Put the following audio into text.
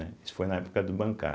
Isso foi na época do bancar.